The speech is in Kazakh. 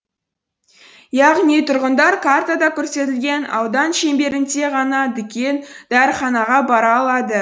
яғни тұрғындар картада көрсетілген аудан шеңберінде ғана дүкен дәріханаға бара алады